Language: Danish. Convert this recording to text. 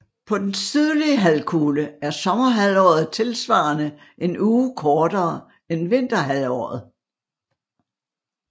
På den sydlige halvkugle er sommerhalvåret tilsvarende en uge kortere end vinterhalvåret